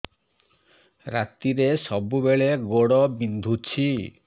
ରାତିରେ ସବୁବେଳେ ଗୋଡ ବିନ୍ଧୁଛି